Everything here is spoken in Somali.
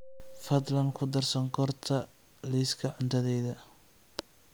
fadlan ku dar sonkorta liiska cuntadayda